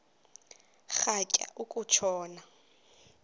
rhatya uku tshona